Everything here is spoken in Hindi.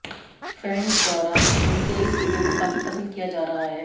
फैन्स द्वारा उनके इस वीडियो को काफी पसंद किया जा रहा है